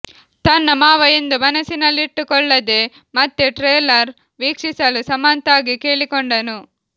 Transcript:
ತನ್ನ ಮಾವ ಎಂದು ಮನಸ್ಸಿನಲ್ಲಿಟ್ಟುಕೊಳ್ಳದೆ ಮತ್ತೆ ಟ್ರೇಲರ್ ವೀಕ್ಷಿಸಲು ಸಮಂತಾಗೆ ಕೇಳಿಕೊಂಡನು